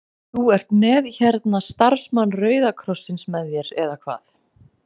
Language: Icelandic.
Þú ert með hérna starfsmann Rauða krossins með þér eða hvað?